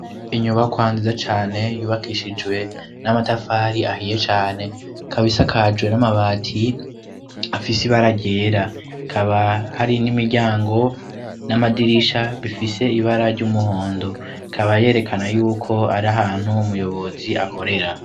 Inyuba kwanziza cane yubakishijwe n'amatafari ahiye cane kabisakajwe n'amabati afise ibaria agyera kaba hari n'imiryango n'amadirisha bifise ibara ry'umuhondo kaba yerekana yuko ari ahantu umuyobozi akorera.